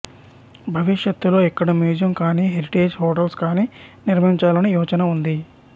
భవిష్యత్తులో ఇక్కడ మ్యూజియం కాని హెరిటేజ్ హోటల్స్ కాని నిర్మించాలని యోచన ఉంది